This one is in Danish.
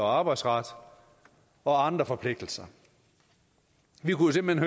arbejdsretten og andre forpligtelser vi kunne jo simpelt